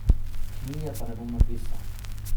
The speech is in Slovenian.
Knjige pa ne bom napisal.